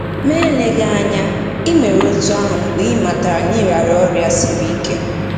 Ma eleghị anya, i mere otú ahụ mgbe ị matara na ị rịara ọrịa siri ike.